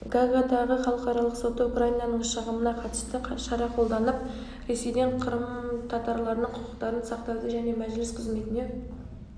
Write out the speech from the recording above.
гаагадағы халықаралық соты украинаның шағымына қатысты шара қолданып ресейден қырым татарларының құқықтарын сақтауды және мәжіліс қызметіне